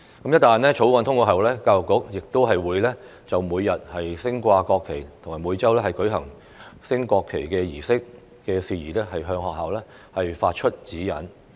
一旦《條例草案》通過後，教育局會就每日升掛國旗及每周舉行升國旗儀式的事宜，向學校發出指引。